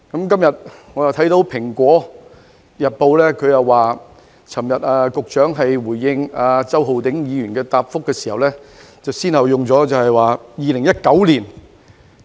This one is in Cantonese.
今天，我看到《蘋果日報》的報道，指局長昨天回應周浩鼎議員的質詢時用了......